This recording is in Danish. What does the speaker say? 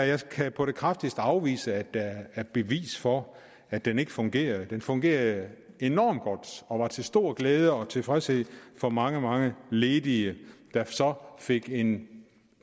jeg kan på det kraftigste afvise at der er bevis for at den ikke fungerede den fungerede enormt godt og var til stor glæde og tilfredshed for mange mange ledige der så fik en